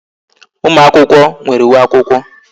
Ụmụ akwụkwọ nwere uwe akwụkwọ